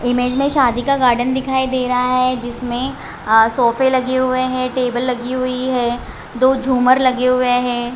Image में शादी का गार्डन दिखाई दे रहा है जिसमें सोफे लगे हुए है टेबल लगी हुई है दो झूमर लगे हुए है।